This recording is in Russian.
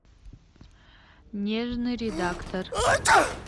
нежный редактор